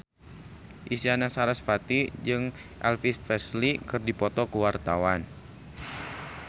Isyana Sarasvati jeung Elvis Presley keur dipoto ku wartawan